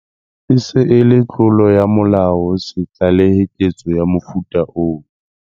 E se e le tlolo ya molao ho se tlalehe ketso ya mofuta oo.